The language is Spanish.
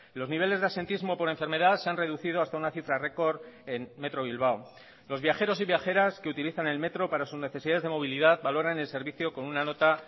los niveles de absentismo por enfermedad se han reducido hasta una cifra récord en metro bilbao los viajeros y viajeras que utilizan el metro para sus necesidades de movilidad valoran el servicio con una nota